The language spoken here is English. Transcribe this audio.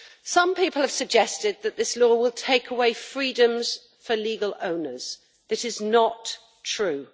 Some people have suggested that this law will take away freedoms for legal owners this is not true.